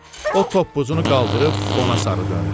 O toppuzunu qaldırıb ona sarı döndü.